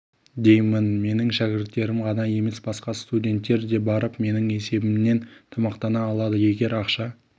деймін менің шәкірттерім ғана емес басқа студенттер де барып менің есебімнен тамақтана алады егер ақша